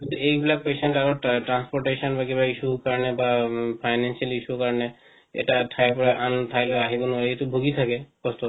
এই বিলাক patient আৰু transportation বা কিবা issue কাৰণে বা financially issue কাৰনে এইটা ঠাই লৈ আন ঠাই লৈ আহিব নোৱাৰে এটো ভোগি থাকে কষ্ট